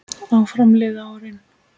Áfram liðu árin.